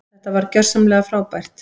Þetta var gjörsamlega frábært.